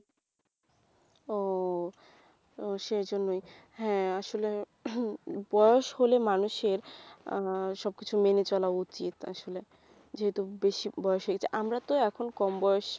ও সেই জন্যেই হ্যাঁ আসলে উহ বয়স হলে মানুষের আহ সব কিছু মেনে চলা উচিত আসলে, যেহেতু বেশি বয়েস হয়ে গেছে আমরা তো এখন কম বয়েস